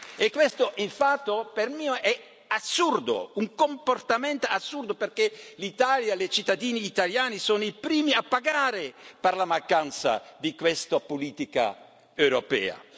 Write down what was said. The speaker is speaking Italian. E questo, per me, è un comportamento assurdo, perché l'Italia e i cittadini italiani sono i primi a pagare per la mancanza di questa politica europea.